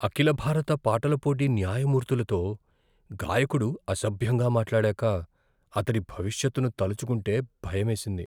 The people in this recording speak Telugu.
అఖిల భారత పాటల పోటీ న్యాయమూర్తులతో గాయకుడు అసభ్యంగా మాట్లాడాక, అతడి భవిష్యత్తును తలచుకుంటే భయమేసింది.